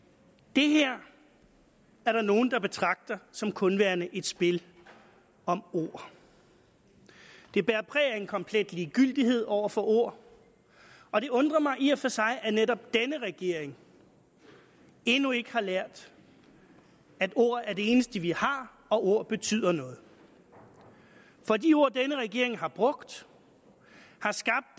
det her er der nogle der betragter som kun værende et spil om ord det bærer præg af en komplet ligegyldighed over for ord og det undrer mig i og for sig at netop denne regering endnu ikke har lært at ord er det eneste vi har og ord betyder noget for de ord denne regering har brugt